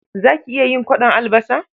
Za ki iya yin kwaɗon albasa?